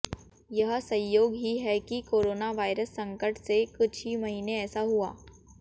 यह संयोग ही है कि कोरोनावायरस संकट से कुछ ही महीने ऐसा हुआ